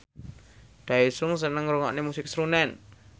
Daesung seneng ngrungokne musik srunen